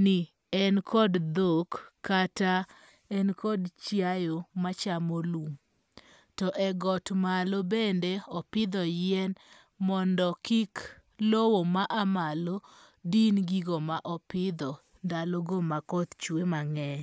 ni en kod dhok kata en kod chiaye machamo lum. To e got malo bende opidho yien mondo kik lowo ma a malo din gigo ma opidho ndalo go ma koth chwe mang'eny.